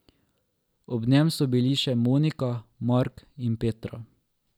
Ob njem so bili še Monika, Mark in Petra.